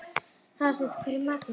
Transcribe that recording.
Hallsteinn, hvað er í matinn?